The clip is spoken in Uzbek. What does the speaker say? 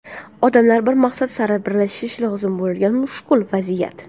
Odamlar bir maqsad sari birlashishi lozim bo‘lgan mushkul vaziyat.